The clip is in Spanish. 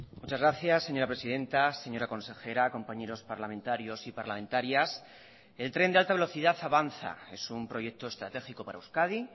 muchas gracias señora presidenta señora consejera compañeros parlamentarios y parlamentarias el tren de alta velocidad avanza es un proyecto estratégico para euskadi